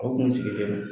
Aw kun sigilen don